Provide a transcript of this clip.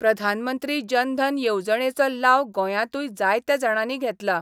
प्रधानमंत्री जनधन येवजणेचो लाव गोंयातूय जायत्या जाणांनी घेतला.